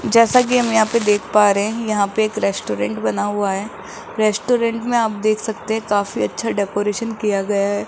जैसा कि हम यहां पे देख पा रहे हैं यहां पे एक रेस्टोरेंट बना हुआ है रेस्टोरेंट में आप देख सकते हैं काफी अच्छा डेकोरेशन किया गया है।